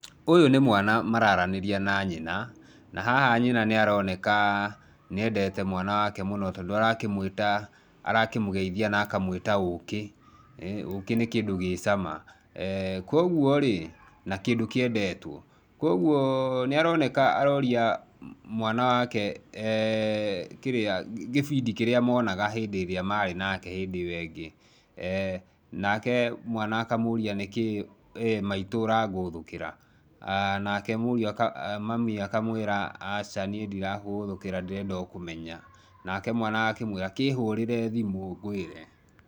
Ũyũ nĩ mwana maraaranĩria na nyina, na haha nyina nĩ aroneka nĩ endete mwana wake mũno tondũ arakĩmwĩta, arakĩmũgeithia na akamũita ũũkĩ. Ũũkĩ nĩ kĩndũ gĩ cama, kwoguo rĩ, na kĩndũ kĩendetwo. Kwoguo nĩ aroneka aroria mwana wake, kĩrĩa, kĩbindi kĩrĩa monaga hĩndĩ ĩrĩa marĩ nake hĩndĩ ĩo ĩngĩ. Nake mwana akamũria nĩ kĩ maitũ ũrangũthũkĩra? Nake mũriũ, mami akamwĩra aca niĩ ndĩrakũgũthũkĩra ndĩrenda o kũmenya, nake mwana agakĩmwĩra kĩhũũrĩre thimũ ngwĩre.